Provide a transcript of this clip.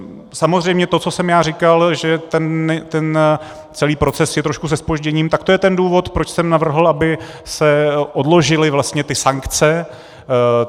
Samozřejmě to, co jsem já říkal, že celý ten proces je trošku se zpožděním, tak to je ten důvod, proč jsem navrhl, aby se odložily vlastně ty sankce.